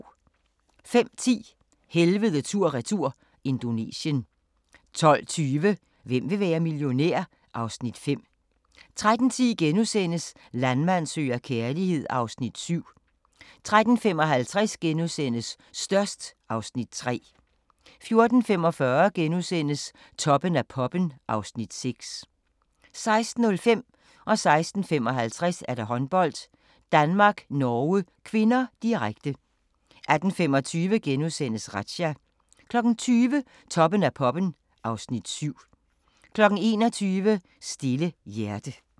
05:10: Helvede tur-retur – Indonesien 12:20: Hvem vil være millionær? (Afs. 5) 13:10: Landmand søger kærlighed (Afs. 7)* 13:55: Størst (Afs. 3)* 14:45: Toppen af poppen (Afs. 6)* 16:05: Håndbold: Danmark-Norge (k), direkte 16:55: Håndbold: Danmark-Norge (k), direkte 18:25: Razzia * 20:00: Toppen af poppen (Afs. 7) 21:00: Stille hjerte